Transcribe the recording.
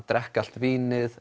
drekka allt vínið